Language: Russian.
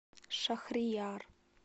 шахрияр